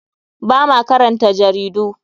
Ba ma karanta jaridu.